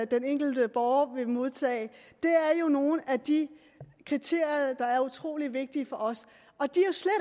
den enkelte borger vil modtage det er nogle af de kriterier der er utrolig vigtige for os og de